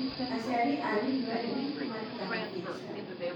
Aciari a gĩthweri maarutaga biacara.